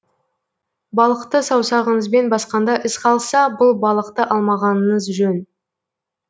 балықты саусағыңызбен басқанда із қалса бұл балықты алмағаныңыз жөн